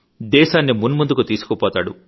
దేశాన్ని మున్మందుకు తీసుకుపోతాడు